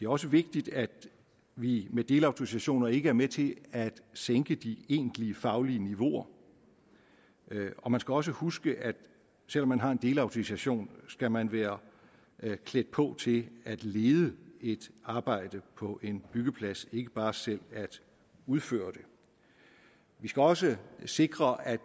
også vigtigt at vi med delautorisationer ikke er med til at sænke de egentlige faglige niveauer og man skal også huske at selv om man har en delautorisation skal man være klædt på til at lede et arbejde på en byggeplads ikke bare selv at udføre det vi skal også sikre at